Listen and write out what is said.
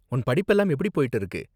உன் படிப்பெல்லாம் எப்படி போய்ட்டு இருக்கு?